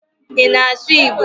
Ị na-asụ Igbo?